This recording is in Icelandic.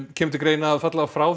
kemur til greina að falla frá